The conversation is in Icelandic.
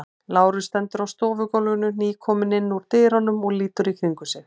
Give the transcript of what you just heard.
Lárus stendur á stofugólfinu, nýkominn inn úr dyrunum og lítur í kringum sig.